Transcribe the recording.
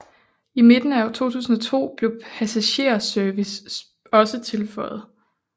I midten af år 2002 blev passagerservice også tilføjet